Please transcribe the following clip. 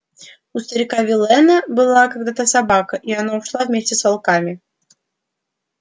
у старика виллэна была когда-то собака и она ушла вместе с волками